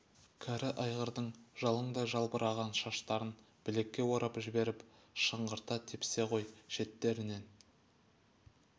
кәрі айғырдың жалыңдай жалбыраған шаштарын білекке орап жіберіп шыңғырта тепсе ғой шеттерінен